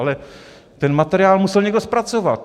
Ale ten materiál musel někdo zpracovat!